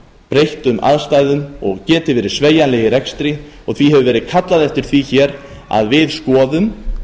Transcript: breyttum aðstæðum og geti verið sveigjanleg í rekstri því hefur verið kallað eftir því hér að við skoðum